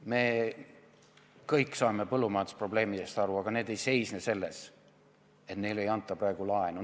Me kõik saame põllumajanduse probleemidest aru, aga need ei seisne selles, et neile ei anta praegu laenu.